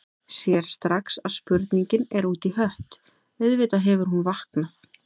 Sér strax að spurningin er út í hött, auðvitað hefur hún vaknað.